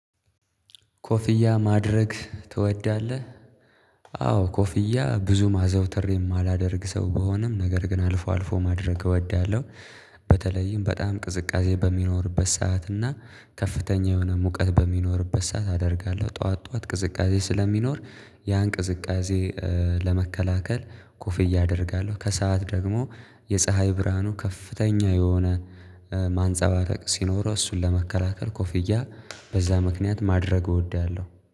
ኮፍያ ማድረግ ትወዳለህ? አዎ ኮፍያ ብዙ ማዘውተር የማላደርግ ሰው በሆነም ነገር ግን አልፎ አልፎ ማድረግ እወዳለሁ። በተለይም በጣም ቅዝቃዜ በሚኖርበት ሰዓት እና ከፍተኛ የሆነ ሙቀት በሚኖርበት ሰዓት አደርጋለሁ ጠዋት ጠዋት ቅዝቃዜ ስለሚኖር ያን ቅዝቃዜ ለመከላከል ኮፍያ አደርጋለሁ። ከሰአት ደግሞ የፀሀይ ብርሃኑ ከፍተኛ የሆነ ማንፀባረቅ ሲኖረው እሱን ለመከላከል ኮፍያ በዛ ምክንያት ማድረግ እወዳለሁ